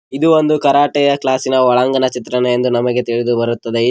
ಇದು ಒಂದು ಕರಾಟೆಯ ಕ್ಲಾಸಿನ ಒಳಾಂಗನ ಚಿತ್ರಣ ಎಂದು ನಮಗೆ ತಿಳಿದು ಬರುತ್ತದೆ.